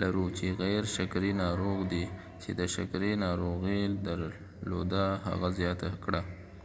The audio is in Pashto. لرو چې غیر شکرې ناروغ دي چې د شکرې ناروغي درلوده، هغه زیاته کړه.